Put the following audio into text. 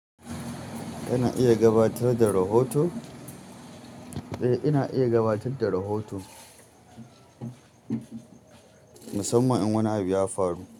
Ina iya gabatar da rahoto? Eh, ina iya gabatar da rahoto. Musamman in wani abu ya faru.